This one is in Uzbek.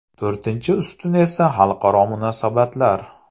To‘rtinchi ustun esa xalqaro munosabatlar.